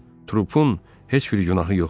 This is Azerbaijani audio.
Trupun heç bir günahı yox imiş.